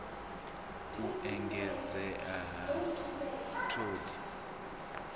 u engedzea ha t hod